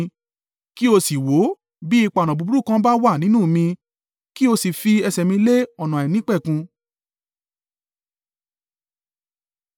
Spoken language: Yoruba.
Kí ó sì wò ó bí ipa ọ̀nà búburú kan bá wà nínú mi kí ó sì fi ẹsẹ̀ mi lé ọ̀nà àìnípẹ̀kun.